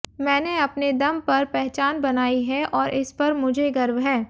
मैंने अपने दम पर पहचान बनाई है और इस पर मुझे गर्व है